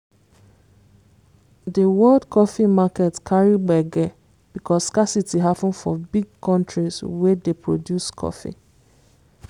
di world coffee market carry gbege because scarcity happen for big countries wey dey produce coffee